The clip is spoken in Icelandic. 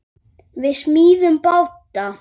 Við smíðum báta.